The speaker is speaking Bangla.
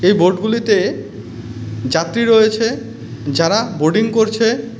এই বোট গুলিতে যাত্রী রয়েছে যারা বোডিং করছে .